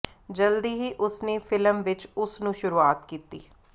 ਜਲਦੀ ਹੀ ਉਸ ਨੇ ਫਿਲਮ ਵਿੱਚ ਉਸ ਨੂੰ ਸ਼ੁਰੂਆਤ ਕੀਤੀ